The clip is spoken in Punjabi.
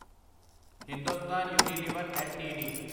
Hindustan Unilever LTD